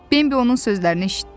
Bembi onun sözlərini eşitdi.